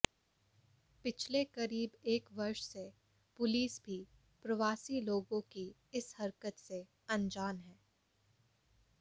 पिछले करीब एक वर्ष से पुलिस भी प्रवासी लोगों की इस हरकत से अनजान है